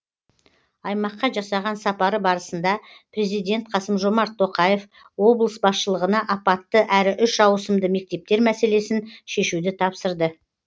аймаққа жасаған сапары барысында президент қасым жомарт тоқаев облыс басшылығына апатты әрі үш ауысымды мектептер мәселесін шешуді тапсырды